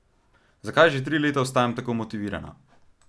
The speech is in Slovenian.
Zakaj že tri leta ostajam tako motivirana?